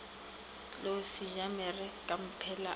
tlou sejamere kamphela a ke